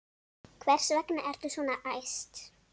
Hvers vegna ertu svona æst?